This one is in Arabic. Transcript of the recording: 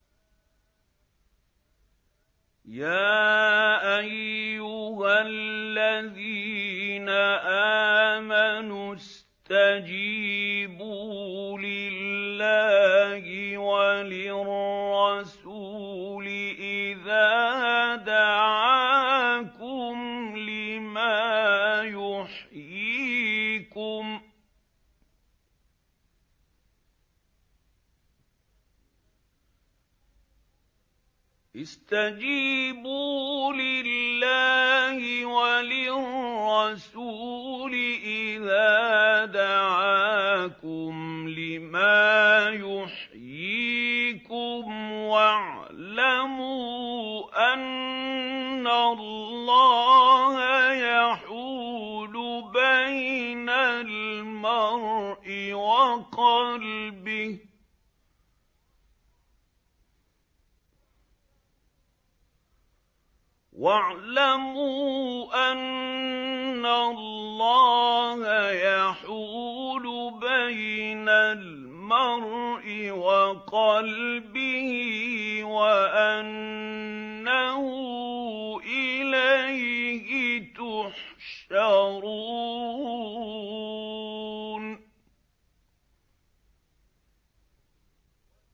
يَا أَيُّهَا الَّذِينَ آمَنُوا اسْتَجِيبُوا لِلَّهِ وَلِلرَّسُولِ إِذَا دَعَاكُمْ لِمَا يُحْيِيكُمْ ۖ وَاعْلَمُوا أَنَّ اللَّهَ يَحُولُ بَيْنَ الْمَرْءِ وَقَلْبِهِ وَأَنَّهُ إِلَيْهِ تُحْشَرُونَ